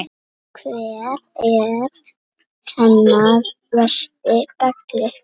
Hver er hennar versti galli?